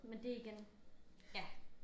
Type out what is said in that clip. Men det igen ja